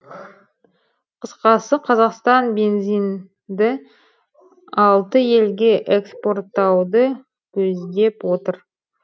қысқасы қазақстан бензинді алты елге экспорттауды көздеп отыр